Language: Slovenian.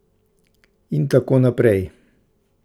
In tako naprej.